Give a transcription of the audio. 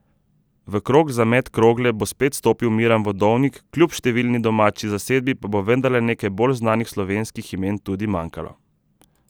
V krog za met krogle bo spet stopil Miran Vodovnik, kljub številčni domači zasedbi pa bo vendarle nekaj bolj znanih slovenskih imen tudi manjkalo.